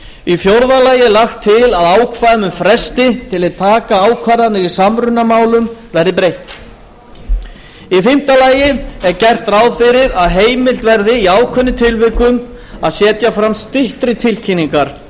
í fjórða lagi er lagt til að ákvæðum um fresti til að taka ákvarðanir í samrunamálum verði breytt í fimmta lagi er gert ráð fyrir því að heimilt verði í ákveðnum tilvikum að setja fram styttri tilkynningar